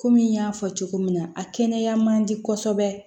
Komi n y'a fɔ cogo min na a kɛnɛya man di kosɛbɛ